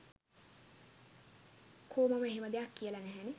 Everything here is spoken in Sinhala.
කෝ මම එහෙම දෙයක් කියල නැහැනෙ